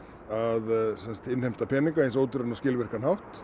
að innheimta peninga á eins ódýran og skilvirkan hátt